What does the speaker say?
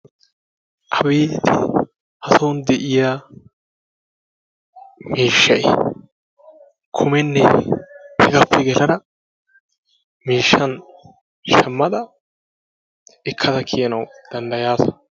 abeeti! hason de'iyaa miishshay kumenne hegappe yeddada miishshan shammada ekkada kiyanaw danddayyasa.